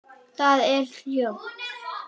Það er hljótt.